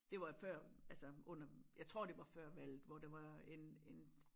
Det var før altså under jeg tror det var før valget hvor det var en en